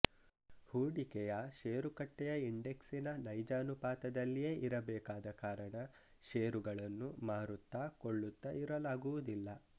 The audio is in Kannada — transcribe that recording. ಹೂಡಿಕೆಯ ಶೇರುಕಟ್ಟೆಯ ಇಂಡೆಕ್ಸಿನ ನೈಜ ಅನುಪಾತದಲ್ಲಿಯೇ ಇರಬೇಕಾದ ಕಾರಣ ಶೇರುಗಳನ್ನು ಮಾರುತ್ತಾ ಕೊಳ್ಳುತ್ತಾ ಇರಲಾಗುವುದಿಲ್ಲ